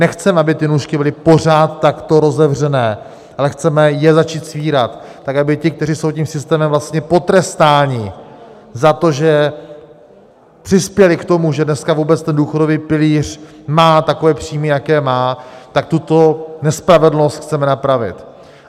Nechceme, aby ty nůžky byly pořád takto rozevřené, ale chceme je začít svírat, tak aby ti, kteří jsou tím systémem vlastně potrestáni za to, že přispěli k tomu, že dneska vůbec ten důchodový pilíř má takové příjmy, jaké má, tak tuto nespravedlnost chceme napravit.